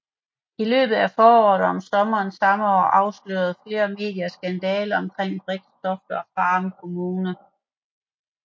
I løbet af foråret og sommeren samme år afslørede flere medier skandaler omkring Brixtofte og Farum Kommune